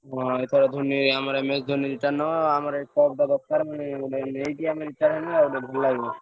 ହଁ ଏଥର ଧୋନୀ ଆମର MS ଧୋନୀ retired ନବ। ଆମର ଏଇ shot ଟା ଦ~ ରକାର~ ଉଁ ନେଇକି ଆମେ retired ହେଲେ ଭଲ ଲାଗିବନି।